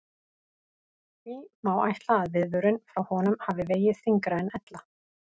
Því má ætla að viðvörun frá honum hafi vegið þyngra en ella.